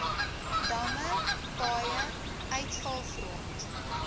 damme paaie uitvalgrond